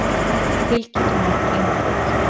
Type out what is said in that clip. Tilkynnt um nokkur innbrot